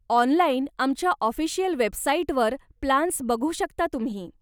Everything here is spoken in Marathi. ऑनलाईन आमच्या ऑफीशियल वेबसाईटवर प्लान्स बघू शकता तुम्ही.